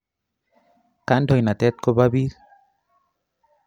Kandoinatet ko po piik